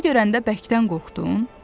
Onu görəndə bərkdən qorxdun?